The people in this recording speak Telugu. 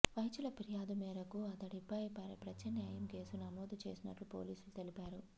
వైద్యుల ఫిర్యాదు మేరకు అతడిపై హత్యాయత్నం కేసు నమోదు చేసినట్టు పోలీసులు తెలిపారు